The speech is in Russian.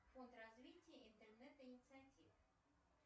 фонд развития интернет инициатив